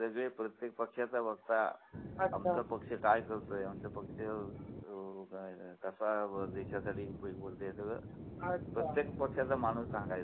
सगळे प्रत्येक पक्षाचा वक्ता आमचा पक्ष काय करतोय कसा आमचा पक्ष देशासाठी उपयोगी पडेल हे सगळं अच्छा प्रत्येक पक्षाचा माणूस सांगायचा